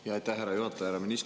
Jaa, aitäh, härra juhataja!